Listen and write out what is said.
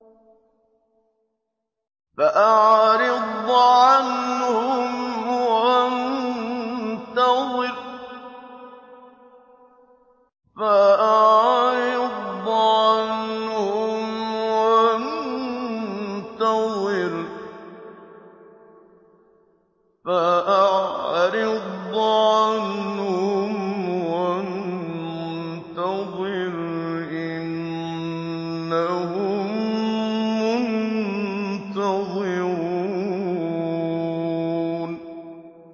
فَأَعْرِضْ عَنْهُمْ وَانتَظِرْ إِنَّهُم مُّنتَظِرُونَ